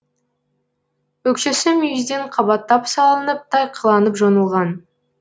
өкшесі мүйізден қабаттап салынып тайқыланып жонылған